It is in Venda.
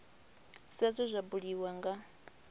sa zwe zwa buliwa nga